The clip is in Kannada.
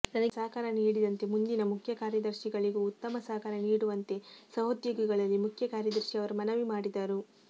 ನನಗೆ ಸಹಕಾರ ನೀಡಿದಂತೆ ಮುಂದಿನ ಮುಖ್ಯ ಕಾರ್ಯದರ್ಶಿಗಳಿಗೂ ಉತ್ತಮ ಸಹಕಾರ ನೀಡುವಂತೆ ಸಹೊದ್ಯೋಗಿಗಳಲ್ಲಿ ಮುಖ್ಯಕಾರ್ಯದರ್ಶಿ ಅವರು ಮನವಿ ಮಾಡಿದರು